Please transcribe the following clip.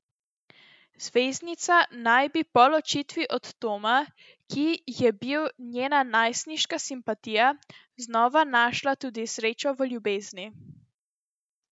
Zvezdnica naj bi po ločitvi od Toma, ki je bil njena najstniška simpatija, znova našla tudi srečo v ljubezni.